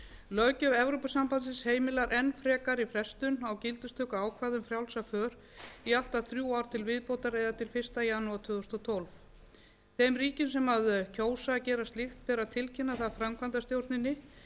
löggjöf evrópusambandsins heimilar enn frekari frestun á gildistökuákvæðum frjálsa för eða allt að þrjú ár til viðbótar eða til fyrsta janúar tvö þúsund og tólf þeim ríkjum sem kjósa að gera slíkt ber að tilkynna það framkvæmdastjórninni